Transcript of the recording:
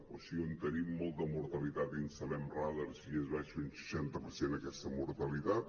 o sigui on tenim molta mortalitat hi instal·lem radars i es baixa un seixanta per cent aquesta mortalitat